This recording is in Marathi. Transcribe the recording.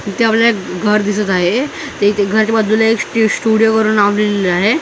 इथे आपल्याला एक घर दिसत आहे ते ते घरच्या बाजूला एक स्टुडिओ वर एक नाव लिहिलेला आहे.